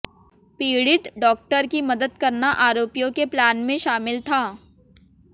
पीड़ित डॉक्टर की मदद करना आरोपियों के प्लान में शामिल था